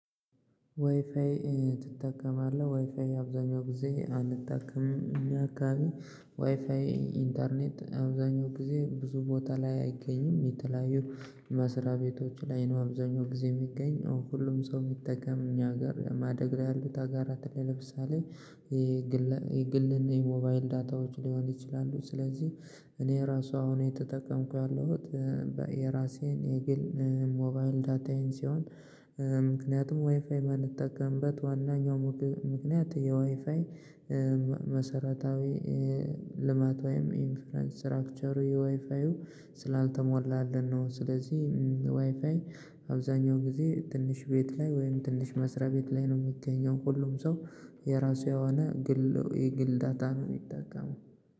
ዋይፋይ ትጠቀማለህ? ዋይፋይ አብዛኛው ጊዜ አልጠቀምም እኛ አካባቢ ዋይፋይ ኢንተርኔት አብዛኛው ጊዜ ብዙ ቦታ ላይ አይገኝም የተለያዩ መስሪያ ቤቶች ላይ ነው አብዛኛው ጊዜ የሚገኝ። ሁሉም ሰው የሚጠቀም እኛ ሀገር ማደግ ላይ ያሉት ሀገራት ለምሳሌ የግል እና የሞባይል ዳታዎች ሊሆን ይችላሉ ስለዚህ እኔ ራሱ አሁን የተጠቀምኩ ያለሁት የራሴን የግል ሞባይል ዳታዬን ሲሆን ምክንያቱም ዋይፋይ ማንጠቀምበት ዋናኛው ምክንያት የዋይፋይ መሰረታዊ ልማት ወይም ኢንፍሉዋንስ ስትራክቸሩ የዋይፋዩ ስላልተሟላልን ነው ስለዚህ ዋይፋይ አብዛኛው ጊዜ ትንሽ ቤት ላይ ወይም ትንሽ መስሪያ ቤት ላይ ነው የሚገኘው ሁሉም ሰው የራሱ የሆነ ግል የግል ዳታ ነው የሚጠቀመው